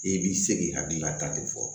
E b'i se k'i hakilinata de fɔ